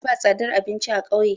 Da ba tsadar abinci a kauye